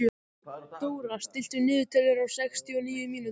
Dóra, stilltu niðurteljara á sextíu og níu mínútur.